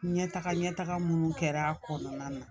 Ɲɛtaga ɲɛ taga munnu kɛra a kɔnɔna na